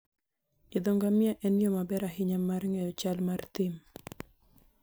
Idho ngamia en yo maber ahinya mar ng'eyo chal mar thim.